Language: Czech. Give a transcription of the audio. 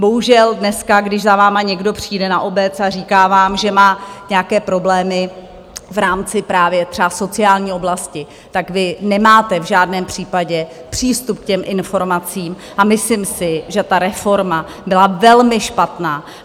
Bohužel dneska, když za vámi někdo přijde na obec a říká vám, že má nějaké problémy v rámci právě třeba sociální oblasti, tak vy nemáte v žádném případě přístup k těm informacím, a myslím si, že ta reforma byla velmi špatná.